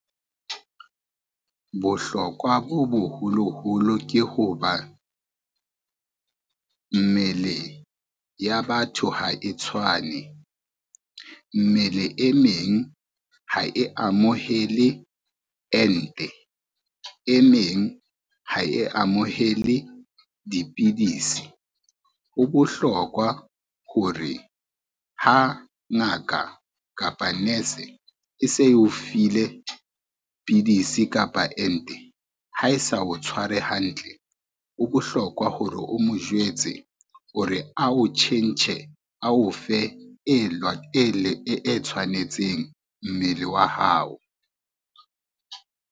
Bohlokwa bo boholoholo ke ho ba, mmele ya batho ha e tshwane, mmele e meng ha e amohele ente, e meng ha e amohele dipidisi. Ho bohlokwa hore ha ngaka kapa nurse e se eo file pidisi kapa ente ha e sa o tshware hantle, ho bohlokwa hore o mo jwetse hore a o tjhentjhe a o fe e tshwanetseng mmele wa hao.